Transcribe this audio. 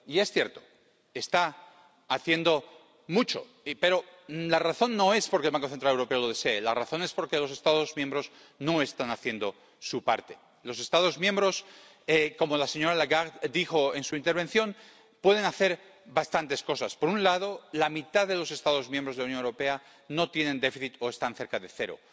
Y es cierto, está haciendo mucho, sí, pero la razón no es porque el Banco Central Europeo lo desee, la razón es porque los Estados miembros no están haciendo su parte. Los Estados miembros —como la señora Lagarde dijo en su intervención— pueden hacer bastantes cosas. Por un lado, la mitad de los Estados miembros de la Unión Europea no tienen déficit o están cerca de cero.